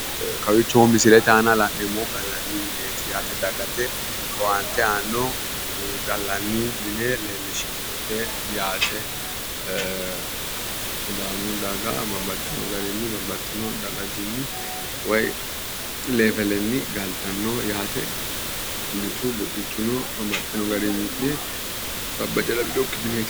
Kawiicho misilete aana la'neemmohu gallanni mineti dagate owaante aanno gallanni mine leellishannote yaate sidaamu daga babbaxxino deerrinni galtannoho yaate mitu buxichuno babbaxxino garinni mi'ne sabba ganaminokki mineeti